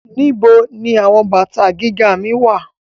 Where are my high heels